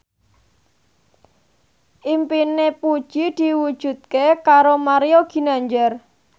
impine Puji diwujudke karo Mario Ginanjar